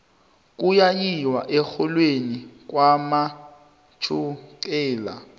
kuya yiwa erholweni kwanomtjhexhela